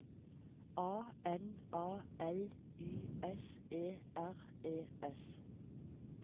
A N A L Y S E R E S